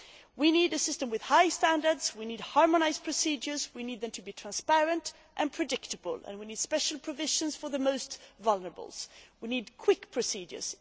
We need a system with high standards, with harmonised procedures, we need these to be transparent and predictable, and we need special provisions for the most vulnerable. We need quick procedures.